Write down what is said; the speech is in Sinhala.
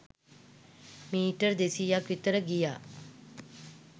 මීටර් දෙසීයක් විතර ගියා